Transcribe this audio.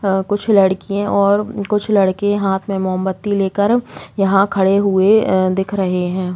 आं कुछ लडकिये और कुछ लड़के हाथ में मोमबत्ती लेकर यहाँ खड़े हुए अ दिख रहे हैं‌।